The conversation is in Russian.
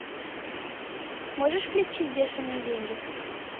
можешь включить бешеные деньги